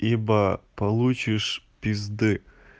ибо получишь пизды